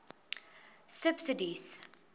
subsidies